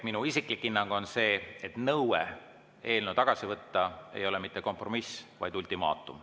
Minu isiklik hinnang on see, et nõue eelnõu tagasi võtta ei ole mitte kompromiss, vaid ultimaatum.